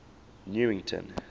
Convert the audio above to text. newington